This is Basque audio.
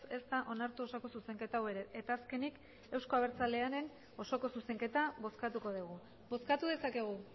ez da onartu osoko zuzenketa hau ere eta azkenik euzko abertzalearen osoko zuzenketa bozkatuko dugu bozkatu dezakegu